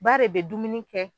Ba de be dumuni kɛ